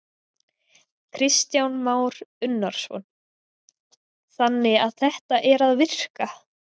Kristján Már Unnarsson: Þannig að þetta er að virka?